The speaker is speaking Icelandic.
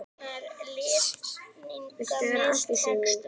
"""Viltu vera að því, Sif mín?"""